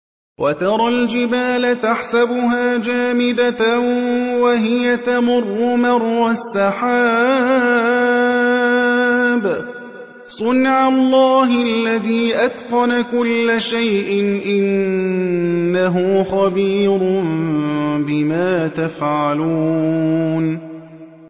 وَتَرَى الْجِبَالَ تَحْسَبُهَا جَامِدَةً وَهِيَ تَمُرُّ مَرَّ السَّحَابِ ۚ صُنْعَ اللَّهِ الَّذِي أَتْقَنَ كُلَّ شَيْءٍ ۚ إِنَّهُ خَبِيرٌ بِمَا تَفْعَلُونَ